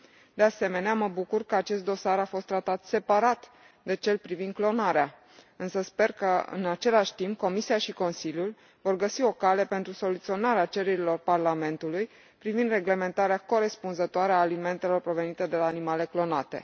De asemenea, mă bucur că acest dosar a fost tratat separat de cel privind clonarea, însă sper că, în același timp, Comisia și Consiliul vor găsi o cale pentru soluționarea cererilor Parlamentului privind reglementarea corespunzătoare a alimentelor provenite de la animale clonate.